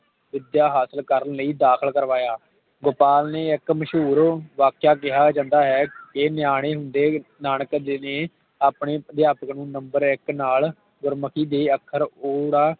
ਵਿਦਿਆ ਹਾਸਲ ਕਰਨ ਲਈ ਦਾਖ਼ਲ ਕਰਵਾਇਆ ਗੋਪਾਲ ਨੇ ਇਕ ਮਸ਼ਹੂਰੂ ਵਾਕਿਆ ਕਿਹਾ ਜਾਂਦਾ ਹੈ ਕੇ ਨਯਾਨੇ ਹੁੰਦੇ ਨਾਨਕ ਜੀ ਨੇ ਆਪਣੇ ਅਧਿਆਪਕ ਨੂੰ Number ਇਕ ਨਾਲ ਗੁਮੁਖੀ ਦੇ ਅੱਖਰ ਉੜਾ